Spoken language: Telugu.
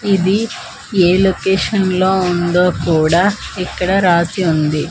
ఇది ఏ లోకేషన్ లో ఉందో కుడా ఇక్కడ రాసి ఉంది.